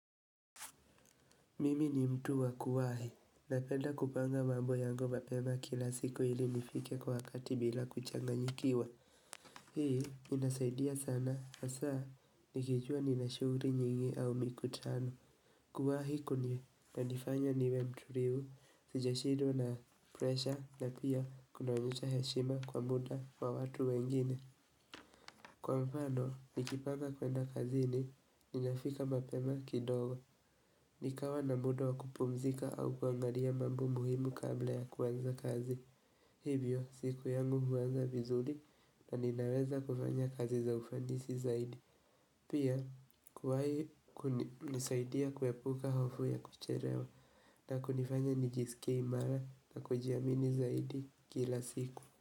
Mimi ni mtu wa kuwahi na penda kupanga mambo yango mapema kila siku ili nifike kwa wakati bila kuchanganyikiwa Hii inasaidia sana hasaa, nikijua nina shughuri nyingi au mikutano Kuwahi kuni kunifanya niwe mturifu sijashidwa na presha na pia kunaonyesha heshima kwa muda wa watu wengine Kwa mfano, nikipanga kwenda kazini, ninafika mapema kidogo, nikawa na muda wa kupumzika au kuangalia mambo muhimu kabla ya kuwanza kazi. Hivyo, siku yangu huwanza vizuri na ninaweza kufanya kazi za ufanisi zaidi. Pia, kuwai ku nisaidia kuepuka hofu ya kucherewa na kunifanya nijisike imara na kujiamini zaidi kila siku.